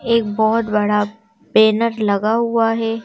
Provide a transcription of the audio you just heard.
एक बहुत बड़ा बैनर लगा हुआ है।